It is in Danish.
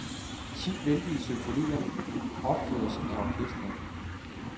Ti vældige symfonier opføres af orkestret.